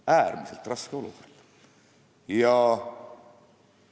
Äärmiselt raske olukord!